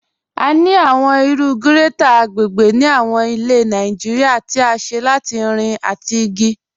A ni awọn iru grẹ́tẹ̀sì agbègbè ni awọn ilẹ̀ Nàìjíríà tí à ṣé látì irin àtì igi.